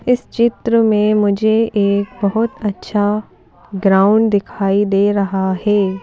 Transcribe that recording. इस चित्र में मुझे एक बहुत अच्छा ग्राउंड दिखाई दे रहा है।